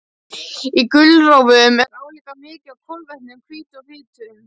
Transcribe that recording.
Í gulrófum er álíka mikið af kolvetnum, hvítu og fitu.